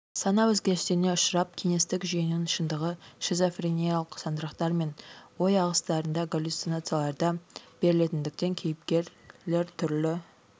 сана өзгерістеріне ұшырап кеңестік жүйенің шындығы шизофрениялық сандырақтар мен ой ағыстарында галлюцинацияларда берілетіндіктен кейіпкерлер түрлі